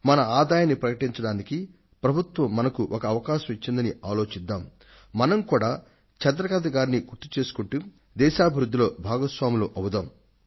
మన ఆదాయాన్ని బహిరంగపరచడానికి ప్రభుత్వం మనకు ఒక అవకాశం ఇచ్చిందని ఆలోచిద్దాం మనం కూడా చంద్రకాంత్ గారిని గుర్తుచేసుకుంటూ దేశాభివృద్ధిలో భాగస్వాములం అవుదాం